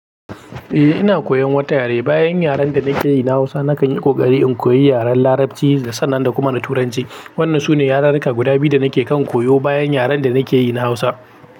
Eh ina koyan wata yare, bayan yaren da nake yi na Hausa nakan yi ƙoƙari in koyi yaren Larabci sannan na kuma Turanci. Wannan sune yarurruka guda biyu da nake kan koyo bayan yaren da nake yi na Hausa.